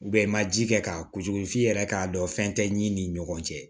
i ma ji kɛ k'a kujugu f'i yɛrɛ k'a dɔn fɛn tɛ ɲi ni ɲɔgɔn cɛ